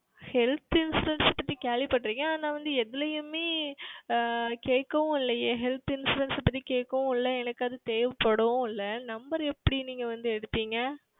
Health Insurance பற்றி கேள்வி பற்றுகேன் ஆனால் வந்து எதுளியுமே ஆஹ் கேட்கவும் இல்லையே Health Insurance பற்றி கேட்கவும் இல்லை எனக்கு அது தேவைப்படவும் இல்லை Number எப்படி வந்து நீங்கள் எடுத்தீர்கள்